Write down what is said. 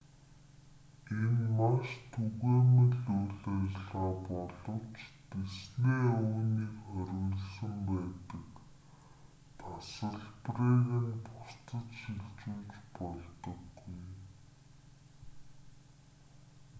энэ маш түгээмэл үйл ажиллагаа боловч дисней үүнийг хориглосон байдаг тасалбарыг нь бусдад шилжүүлж болдоггүй